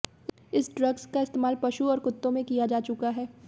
इस ड्रग्स का इस्तेमाल पशु और कुत्तों में किया जा चुका है